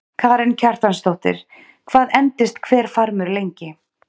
Karen Kjartansdóttir: Hvað endist hver farmur lengi?